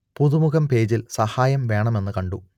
പുതുമുഖം പേജിൽ സഹായം വേണമെന്നു കണ്ടു